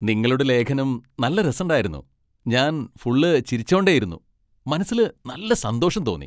നിങ്ങളുടെ ലേഖനം നല്ല രസണ്ടായിരുന്നു, ഞാൻ ഫുൾ ചിരിച്ചോണ്ടേയിരുന്നു, മനസ്സില് നല്ല സന്തോഷം തോന്നി.